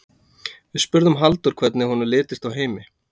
Við spurðum Halldór hvernig honum litist á Heimi?